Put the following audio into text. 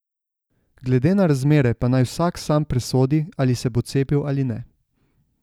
Glede na razmere pa naj vsak sam presodi, ali se bo cepil ali ne.